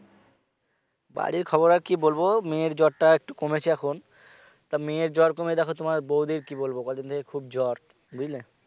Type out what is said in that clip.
বাড়ির খবর আর কি বলব মেয়ের জ্বরটা একটু কমেছে এখন তা মেয়ে জ্বর কমে দেখো তোমার বৌদির কি বলব কয়দিন থেকে খুব জ্বর বুঝলে